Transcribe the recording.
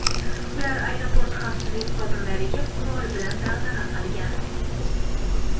Ular aeroport xavfsizlik xodimlariga qurol bilan dag‘dag‘a qilgan.